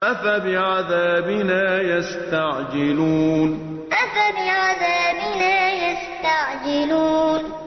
أَفَبِعَذَابِنَا يَسْتَعْجِلُونَ أَفَبِعَذَابِنَا يَسْتَعْجِلُونَ